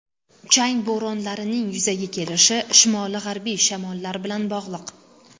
Chang bo‘ronlarining yuzaga kelishi shimoli-g‘arbiy shamollar bilan bog‘liq.